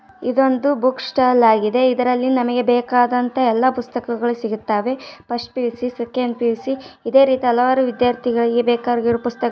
ಇದೊಂದು book stall ಆಗಿದೆ ಇದರಲ್ಲಿ ನಮಗೆ ಬೇಕಾದ ಎಲ್ಲ ಪುಸ್ತಕಗಳು ಸಿಗುತ್ತವೆ ಫಸ್ಟ್ಪಿಯುಸಿ ಸೆಕೆಂಡ್ ಪಿಯುಸಿ ಅದೇ ರೀತಿ ಹಲವಾರು ವಿದ್ಯಾರ್ಥಿಗಳಿಗೆ ಬೇಕಾಗಿರುವ ಪುಸ್ತಕಗಳು --